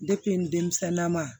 denmisɛnnama